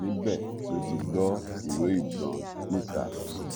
níbẹ ló ti gbọ ìró ìbọn níta